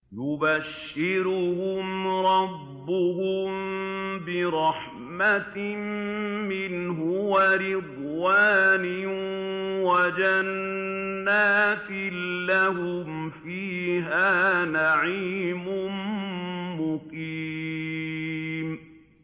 يُبَشِّرُهُمْ رَبُّهُم بِرَحْمَةٍ مِّنْهُ وَرِضْوَانٍ وَجَنَّاتٍ لَّهُمْ فِيهَا نَعِيمٌ مُّقِيمٌ